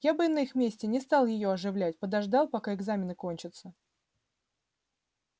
я бы на их месте не стал её оживлять подождал пока экзамены кончатся